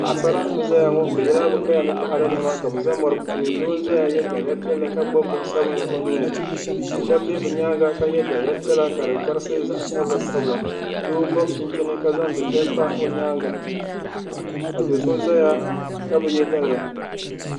Paɣa sara n zayaŋɔ bɛ yɛla bɛ kaya ni taada nɛma ka yɛ daliya sabinli ka gbubi bin piɛli o nuuni ka shɛb bɛ nyaanŋa ka yɛ daliya piɛla ka di gabisi gabisi bin sala doo gobi chinchini ka zan liiga pa o nyaanŋa ka do so zaya kabi yɛ daliya